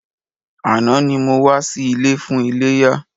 Àná ni mo wá sí ilé fún iléyá.